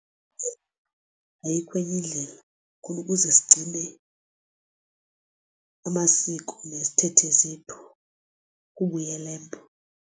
Ayikho enye indlela khona ukuze sigcine amasiko nezithethe zethu kubuyela embo.